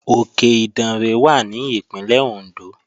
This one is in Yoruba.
Òkè Ìdànrè wà ní Ìpínlẹ̀ Òndó